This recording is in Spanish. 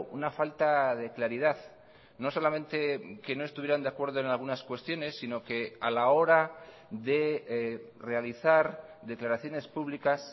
una falta de claridad no solamente que no estuvieran de acuerdo en algunas cuestiones sino que a la hora de realizar declaraciones públicas